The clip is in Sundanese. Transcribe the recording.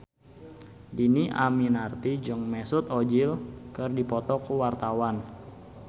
Dhini Aminarti jeung Mesut Ozil keur dipoto ku wartawan